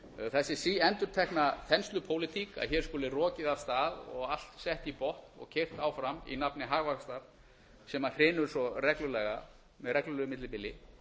þessi síendurtekna þenslupólitík að hér skuli rokið af stað og allt sett í botn og keyrt áfram í nafni hagvaxtar sem hrynur svo reglulega með reglulegu millibili